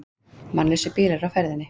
Mannlausir bílar á ferðinni